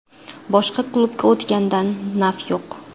Boshqa klubga o‘tgandan naf yo‘q.